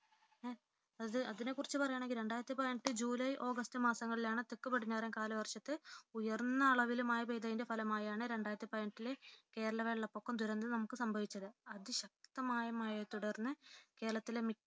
അതിനെക്കുറിച്ച് പറയുകയാണെങ്കിൽ രണ്ടായിരത്തിപതിനെട്ടു ജൂലൈ ഓഗസ്റ്റ് മാസങ്ങളിലാണ് തെക്കു പടിഞ്ഞാറൻ കാലവർഷത്തിൽ ഉയർന്ന അളവിൽ മഴ പെയ്തതിന്റെ ഫലമായാണ് രണ്ടായിരത്തിപതിനെട്ടിലെ കേരള വെള്ളപ്പൊക്കദുരന്തം നമുക്ക് സംഭവിച്ചത് അതിശക്തമായ മഴയെ തുടർന്ന് കേരളത്തിലെ മിക്ക